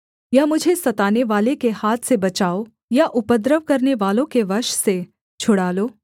या मुझे सतानेवाले के हाथ से बचाओ या उपद्रव करनेवालों के वश से छुड़ा लो